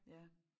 Ja